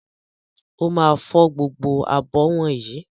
Ó máa fọ gbogbo abọ́ wọ̀nyí.